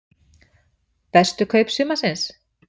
Bestu kaup sumarsins?